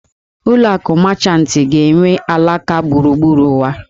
Ụlọ akụ Mechantị ga-enwe alaka gburugburu ụwa